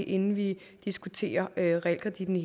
inden vi diskuterer realkreditten i